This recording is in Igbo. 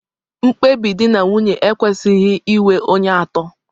Mkpebi di na nwunye ekwesịghị inwe onye atọ